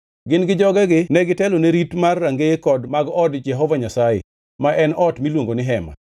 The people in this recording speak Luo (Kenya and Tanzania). Gin gi jogegi negitelone rit mar rangeye mag od Jehova Nyasaye, ma en ot miluongo ni Hema.